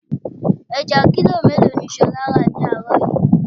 Ẹja kílò mélòó ni ṣolá ra ni àárọ̀ yìí?